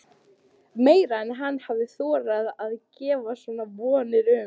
Meira en hann hafði þorað að gera sér vonir um.